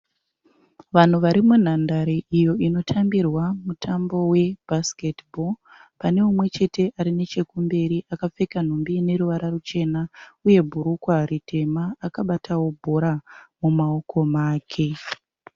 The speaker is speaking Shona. Vanhu vari munhandare iyo inotambirwa mutambo weBasketball. Pane umwechete arikumberi akapfeka nhumbi ineruvara ruchena uye bhurukwa ritema akabatawo bhora mumaoko make.